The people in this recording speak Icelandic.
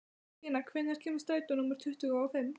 Stína, hvenær kemur strætó númer tuttugu og fimm?